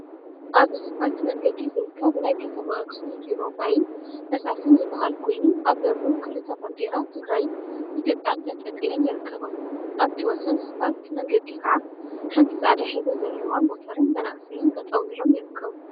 አብ ስፓልት መንገዲ ዝርከብ ናይ ከተማ አክሱም ቢሮ ማይን ፈሳሲን ዝበሃል ኮይኑ፤ አብ በሩ ክልተ ባንዴራ ትግራይን ኢትዮጵያን ተንጠልጢለን ይርከባ፡፡ አብቲ ወሰን ስፓልት መንገዲ ከዓ ሓንቲ ፃዕዳ ሕብሪ ዘለዋ ሞተርን መናእሰይን ጠጠው ኢሎም ይርከቡ፡፡